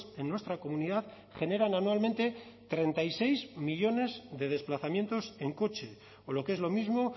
en nuestra comunidad generan anualmente treinta y seis millónes de desplazamientos en coche o lo que es lo mismo